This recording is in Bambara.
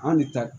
An de ta